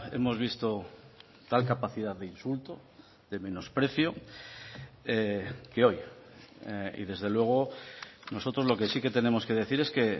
hemos visto tal capacidad de insulto de menosprecio que hoy y desde luego nosotros lo que sí que tenemos que decir es que